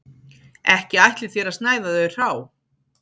Ekki ætlið þér að snæða þau hrá